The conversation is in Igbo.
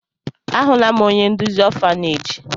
Ahụla m onye nduzi ọfaneeji.